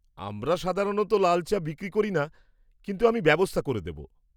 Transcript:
আমরা সাধারণত লাল চা বিক্রি করি না, কিন্তু আমি ব্যবস্থা করে দেব।